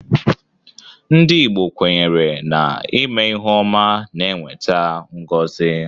Ndị Igbo kwenyere na ime ihe ọma na-eweta ngozi.